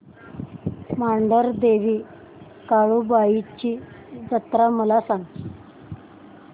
मांढरदेवी काळुबाई ची जत्रा मला सांग